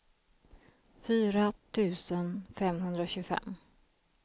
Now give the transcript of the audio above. fyra tusen femhundratjugofem